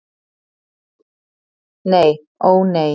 Nei, ó nei.